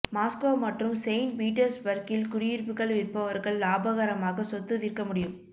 Moscow மற்றும் saint பீட்டர்ஸ்பர்க்கில் குடியிருப்புகள் விற்பவர்கள் லாபகரமாக சொத்து விற்க முடியும்